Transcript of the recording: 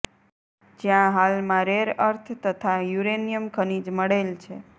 જ્યાં હાલમાં rare earth તથા યુરેનીયમ ખનીજ મળેલ છે